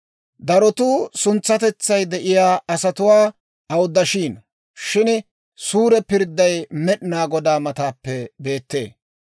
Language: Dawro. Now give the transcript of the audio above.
Darotuu suntsatetsay de'iyaa asatuwaa awuddashiino; shin suure pirdday Med'inaa Godaa mataappe beettee.